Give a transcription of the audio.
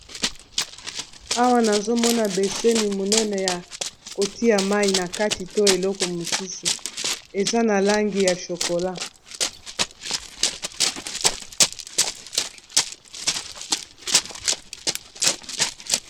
awa nazomona beseni monene ya kotia mai na kati to eloko mosusu eza na langi ya chokola